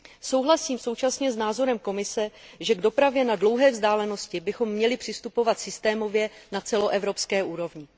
Souhlasím současně s názorem Komise, že k dopravě na dlouhé vzdálenosti bychom měli přistupovat systémově na celoevropské úrovni.